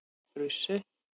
Brussel